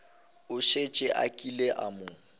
šetše a kile a mo